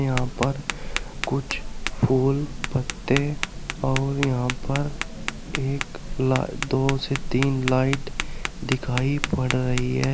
यहां पर कुछ फूल पत्ते और यहां पर एक ला दो से तीन लाइट दिखाई पड़ रही है।